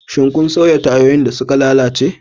Shin kun sauya tayoyin da suka lalace?